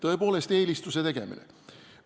Tõepoolest, eelise andmine!